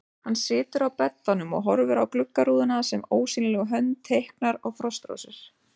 Hann situr á beddanum og horfir á gluggarúðuna sem ósýnileg hönd teiknar á frostrósir.